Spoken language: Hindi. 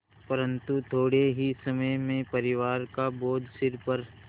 परन्तु थोडे़ ही समय में परिवार का बोझ सिर पर